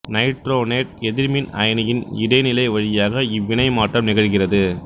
nitronate எதிர்மின் அயனியின் இடைநிலை வழியாக இவ்வினை மாற்றம் நிகழ்கிறது